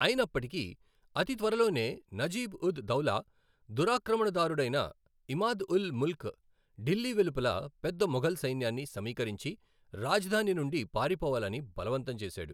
అయినప్పటికీ అతి త్వరలోనే నజీబ్ ఉద్ దౌలా దురాక్రమణదారుడైన ఇమాద్ ఉల్ ముల్క్ ఢిల్లీ వెలుపల పెద్ద మొఘల్ సైన్యాన్ని సమీకరించి రాజధాని నుండి పారిపోవాలని బలవంతం చేశాడు.